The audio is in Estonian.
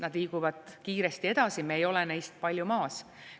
Nad liiguvad kiiresti edasi, me ei ole neist palju maas.